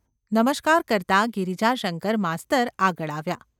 નમસ્કાર કરતા ગિરિજાશંકર માસ્તર આગળ આવ્યા.